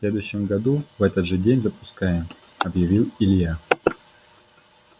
в следующем году в этот же день запускаем объявил илья